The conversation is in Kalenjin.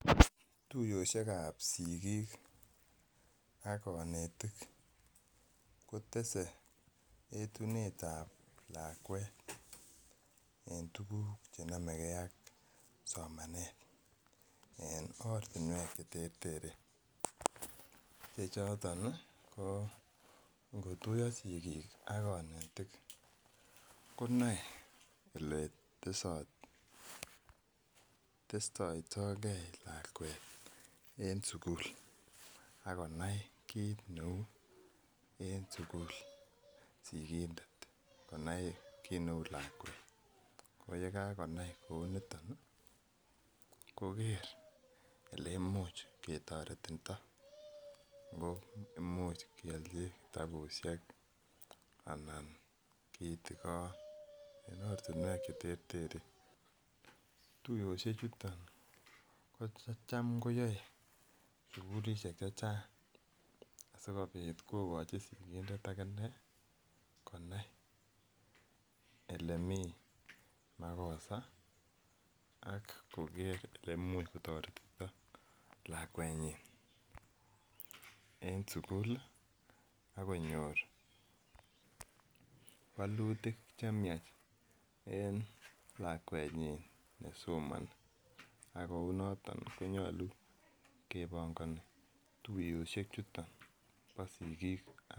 Tuiyoshek ab sigik ak konetik kotese etunotetab lakwet en tuguk chenomegee ak somanet en ortinwek cheterteren chechoton ko ngotuiyo sigik ak konetik konoe eletesot testoitogee lakwet en sukul akonai kit neu en sukul sigindet konai kit neu lakwet ko yekakonai kouniton ih koker eleimuch ketoretito ngo imuch kiolchi kitabusiek ana kitigon en ortinwek cheterteren. Tuiyoshek chuton kotam koyoe sukulisiek chechang sikobit kokochi sigindet akinee konai elemii makosa ak koker elemuch kotoretito lakwet nyin en sukul ak konyor wolutik chemiach en lakwet nyin nesomoni ak kou noton konyolu kebongoni tuiyoshek chuton bo sigik